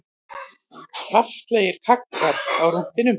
Kraftalegir kaggar á rúntinn